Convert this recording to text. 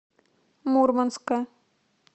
мурманска